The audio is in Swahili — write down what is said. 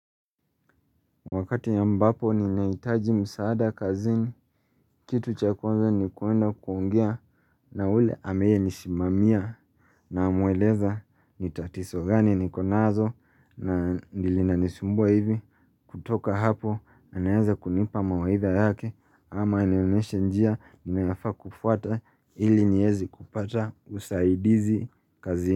Wakati ya mbapo ninahitaji msaada kazini, kitu cha kwanza ni kwenda kuongea na ule anayenisimamia namueleza ni tatizo gani niko nazo na linanisumbua hivi kutoka hapo anaeza kunipa mawaitha yake ama anionyeshe njia ninayofaa kufuata ili nieze kupata usaidizi kazini.